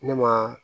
Ne ma